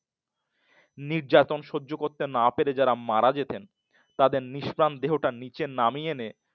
নির্যাতন সহ্য করতে না পেরে যারা মারা যেতেন। তাদের নিষ্প্রাণ দেহটা নিচে নামিয়ে এনে